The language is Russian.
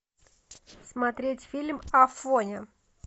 смотреть фильм афоня